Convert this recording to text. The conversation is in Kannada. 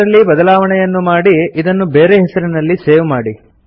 ಇದರಲ್ಲಿ ಬದಲಾವಣೆಯನ್ನು ಮಾಡಿ ಇದನ್ನು ಬೇರೆ ಹೆಸರಿನಲ್ಲಿ ಸೇವ್ ಮಾಡಿ